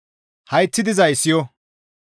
Hayththi dizay siyo!